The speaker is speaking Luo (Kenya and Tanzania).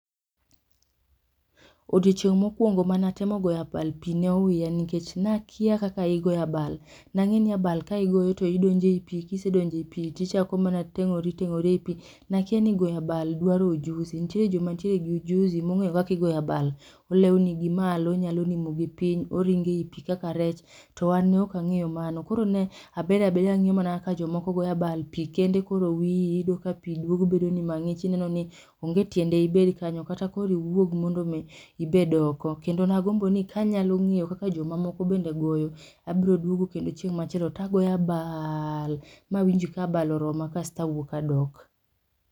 Odiochieng' mokwongo mane atemo goyo abal pi ne owiya nikech nakia kaka igo abal, nang'eni abal ka igoyo to idonjo ei pi kisedonjo ei pi tichako mana teng'ori teng'ori ei pi. Nakia ni go abal dwaro ojusi, nitiere joma nitieregi ojuzi mong'eyo kaka igoyo abal. Olewni ni malo, onyalo nimo gi piny, oringo ei pi kaka rech, to an ne ok ang'eyo mano koro ne, abedabeda ang'iyo mana kaka jomoko goyo abal, pi kende koro wiyi oyudo ka pi duogo bedoni mang'ich ineno ni, onge tiende ibed kanyo kata koro iwuog mondo mi, ibed oko. Kendo nagombo ni kanyalo ng'eyo kaka jomoko bende goyo abroduogo kendo chieng' machielo tagoyo abaaaal mawinj kabal oroma kasto awuok adok